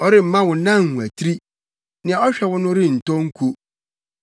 Ɔremma wo nan nwatiri, nea ɔhwɛ wo no rentɔ nko.